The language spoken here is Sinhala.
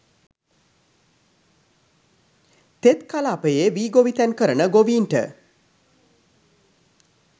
තෙත් කලාපයේ වී ගොවිතැන් කරන ගොවීන්ට